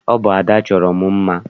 Ọ bụ Ada chọrọ m mma.